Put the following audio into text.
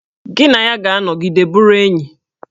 Gị na ya ga-anọgide bụrụ enyi!